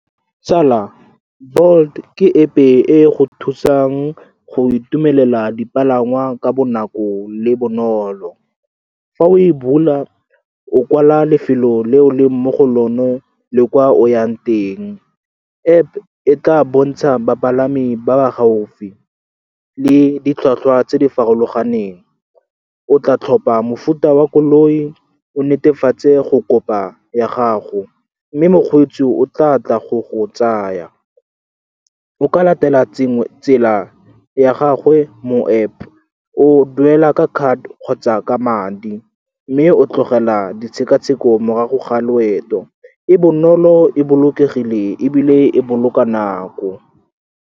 Tsala, Bolt ke App-e e e go thusang go itumelela dipalangwa ka bonako le bonolo. Fa o e bula, o kwala lefelo le o le mo go lone le kwa o yang teng. App e tla bontsha bapalami ba ba gaufi le ditlhwatlhwa tse di farologaneng. O tla tlhopha mofuta wa koloi, o netefatse go kopa ya gago, mme mokgweetsi o tla tla go tsaa. O ka latela tsela ya gagwe mo App. O duela ka card kgotsa ka madi, mme o tlogela ditshekatsheko morago ga loeto. E bonolo, e bolokegile, ebile e boloka nako.